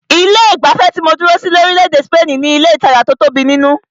Ilé ìgbafẹ́ tí mó dúró sí ní orílẹ̀-èdè spaini ní ilé ìtajà tí o tóbi nínú.